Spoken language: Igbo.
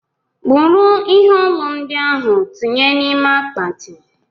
buru ihe ọlụ ndiahu tinye na ime akpati!!